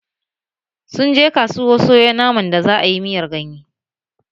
Sun je kasuwa sayo naman da za'a yi miyan ganye